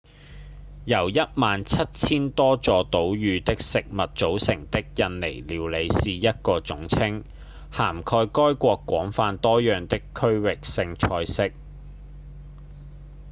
由1萬7000多座島嶼的食物組成的印尼料理是一個總稱涵蓋該國廣泛多樣的區域性菜色